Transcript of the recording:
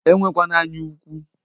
Enwekwana anya ụkwụ!